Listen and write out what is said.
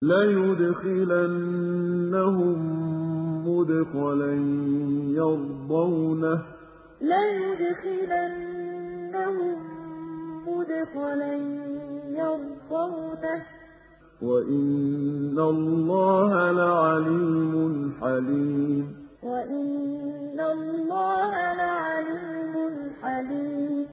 لَيُدْخِلَنَّهُم مُّدْخَلًا يَرْضَوْنَهُ ۗ وَإِنَّ اللَّهَ لَعَلِيمٌ حَلِيمٌ لَيُدْخِلَنَّهُم مُّدْخَلًا يَرْضَوْنَهُ ۗ وَإِنَّ اللَّهَ لَعَلِيمٌ حَلِيمٌ